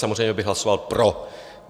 Samozřejmě bych hlasoval pro.